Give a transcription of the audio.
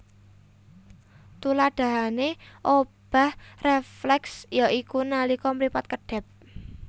Tuladahané obah rèflèks ya iku nalika mripat kedhèp